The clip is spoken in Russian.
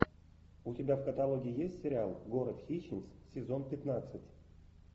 у тебя в каталоге есть сериал город хищниц сезон пятнадцать